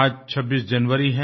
आज 26 जनवरी है